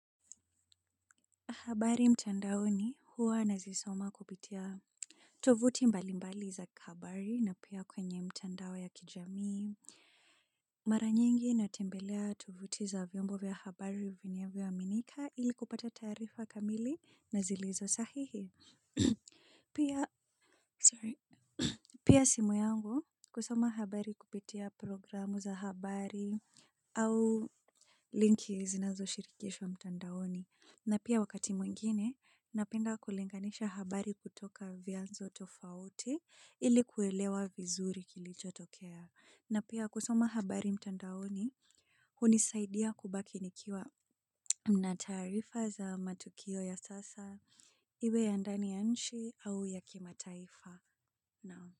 Habari mtandaoni huwa nazisoma kupitia. Tovuti mbalimbali za habari na pia kwenye mtandao ya kijamii. Mara nyingi natembelea tovuti za vyombo vya habari vinavyoaminika ili kupata taarifa kamili na zilizosahihi. Pia simu yangu kusoma habari kupitia programu za habari au linki zinazoshirikishwa mtandaoni. Na pia wakati mwingine, napenda kulinganisha habari kutoka vyanzo tofauti ili kuelewa vizuri kilichotokea. Na pia kusoma habari mtandaoni, hunisaidia kubaki nikiwa na taarifa za matukio ya sasa, iwe ya ndani ya nchi au ya kimataifa.